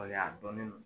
Waleya dɔnnin don